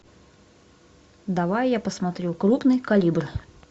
давай я посмотрю крупный калибр